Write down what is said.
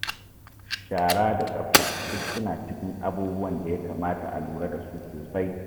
Shara da tsafta duk suna cikin abubuwan da ya kamata a lura da su sosai.